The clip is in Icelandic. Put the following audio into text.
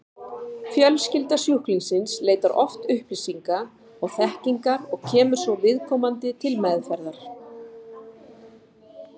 Fjölskylda sjúklingsins leitar oft upplýsinga og þekkingar og kemur svo viðkomandi til meðferðar.